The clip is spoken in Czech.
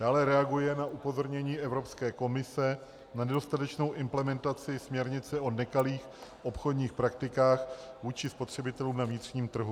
Dále reaguje na upozornění Evropské komise na nedostatečnou implementaci směrnice o nekalých obchodních praktikách vůči spotřebitelům na vnitřním trhu.